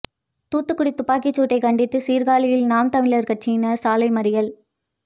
தூத்துக்குடி துப்பாக்கிச்சூட்டை கண்டித்து சீர்காழியில் நாம் தமிழர் கட்சியினர் சாலை மறியல்